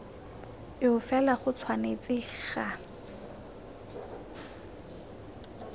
eo fela go tshwanetse ga